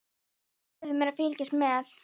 Þú leyfir mér að fylgjast með.